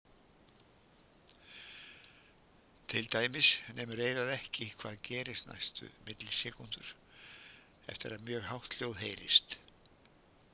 Til dæmis nemur eyrað ekki hvað gerist næstu millisekúndur eftir að mjög hátt hljóð heyrist.